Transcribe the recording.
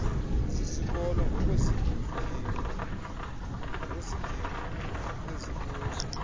zizikolo ngokweengingqi ezikuzo